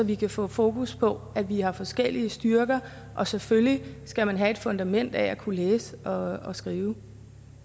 vi kan få fokus på at vi har forskellige styrker og selvfølgelig skal man have et fundament for at kunne læse og skrive